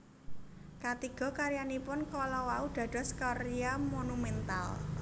Katiga karyanipun kala wau dados karya monumental